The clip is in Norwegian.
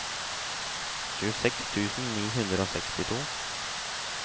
tjueseks tusen ni hundre og sekstito